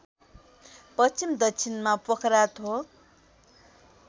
पश्चिम दक्षिणमा पोखराथोक